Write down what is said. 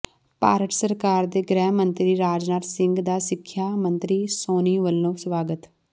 ਭਾਰਤ ਸਰਕਾਰ ਦੇ ਗ੍ਰਹਿ ਮੰਤਰੀ ਰਾਜਨਾਥ ਸਿੰਘ ਦਾ ਸਿਖਿਆ ਮੰਤਰੀ ਸੋਨੀ ਵਲੋਂ ਸਵਾਗਤ